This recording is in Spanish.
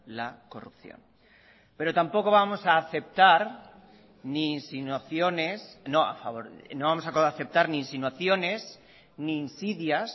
la corrupción pero tampoco vamos a aceptar ni insinuaciones ni insidias